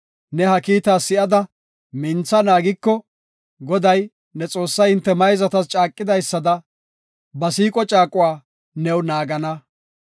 Ne ha kiita sa7ada mintha naagiko, Goday, ne Xoossay hinte mayzatas caaqidaysada ba siiqo caaquwa new naagana.